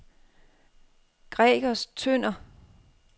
Gregers Tønder